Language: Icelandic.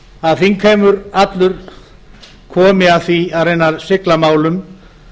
að þingheimur allur komi að því að reyna að sigla málum